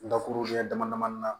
Dakuru ɲɛ damadamani na